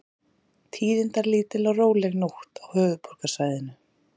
Tíðindalítil og róleg nótt á höfuðborgarsvæðinu